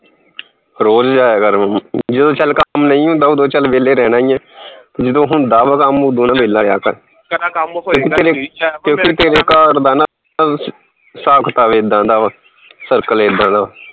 ਰੋਜ਼ ਜਾਇਆ ਕਰ ਜਦੋਂ ਚੱਲ ਕੰਮ ਨਹੀਂ ਹੁੰਦਾ ਉਦੋਂ ਚੱਲ ਵਿਹਲੇ ਰਹਿਣਾ ਈ ਆ ਜਦੋਂ ਹੁੰਦਾ ਵਾ ਕੰਮ ਉਦੋਂ ਨਾ ਵਿਹਲਾ ਰਿਹਾ ਕਰ ਕਿਉਂਕਿ ਤੇਰੇ ਕਿਉਕਿ ਤੇਰੇ ਘਰ ਦਾ ਨਾਂ ਹਿਸਾਬ ਕਿਤਾਬ ਏਦਾਂ ਦਾ ਵਾ circle ਏਦਾਂ ਦਾ